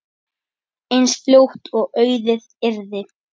eins fljótt og auðið yrði.